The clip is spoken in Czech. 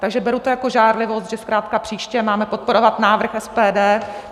Takže beru to jako žárlivost, že zkrátka příště máme podporovat návrh SPD.